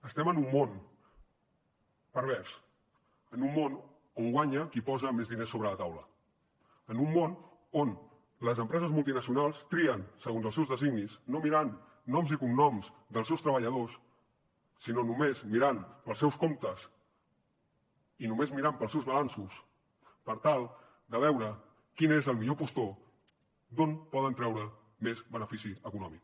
estem en un món pervers en un món on guanya qui posa més diners sobre la taula en un món on les empreses multinacionals trien segons els seus designis no mirant noms i cognoms dels seus treballadors sinó només mirant pels seus comptes i només mirant pels seus balanços per tal de veure quin és el millor postor d’on poden treure més benefici econòmic